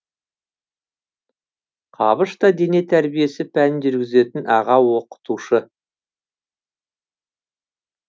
қабыш та дене тәрбиесі пәнін жүргізетін аға оқытушы